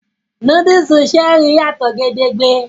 Núdúùsù Cherie yàtò gédéńgbé